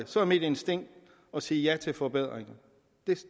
så er mit instinkt at sige ja til de forbedringer